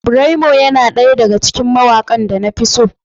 Braymo yana ɗaya daga cikin mawakan da na fi so.